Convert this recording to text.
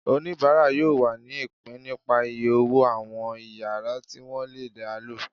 onibara yóò wá ní ipín nípá iyé ọwọ àwọn iyàrá ti wọn lé yalo.